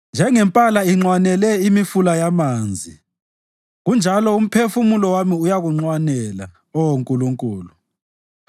Njengempala inxwanela imifula yamanzi, kunjalo umphefumulo wami uyakunxwanela, Oh Nkulunkulu.